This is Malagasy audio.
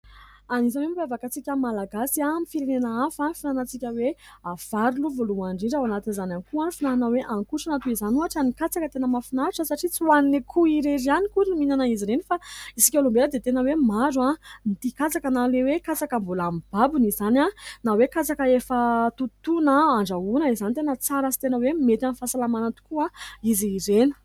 Anisan'ny hoe mampiavaka antsika malagasy amin'ny firenena hafa ny finanantsika hoe vary aloha voalohany indrindra. Ao anatin'izany ihany koa ny fihinanana hoe hanokotrana, toy izany ohatra ny katsaka. Tena mafinahitra satria tsy ho an'ny akoho irery ihany akory ny mihinana izy ireny fa isika olombena dia tena hoe maro no tia katsaka na le hoe katsaka mbola mibabony izany, na hoe katsaka efa notontoana andrahoana izany tena tsara sy tena hoe mety amn'ny fahasalamana tokoa izy ireny.